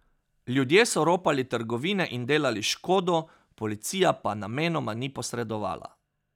Ljudje so ropali trgovine in delali škodo, policija pa namenoma ni posredovala.